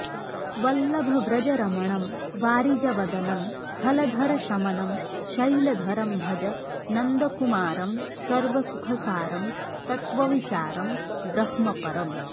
वल्लभव्रजरमणं वारिजवदनं हलधरशमनं शैलधरं भज नन्दकुमारं सर्वसुखसारं तत्त्वविचारं ब्रह्मपरम्